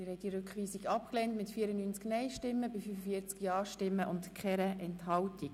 Sie haben den Rückweisungsantrag abgelehnt mit 45 Ja- zu 94 Nein-Stimmen bei 0 Enthaltungen.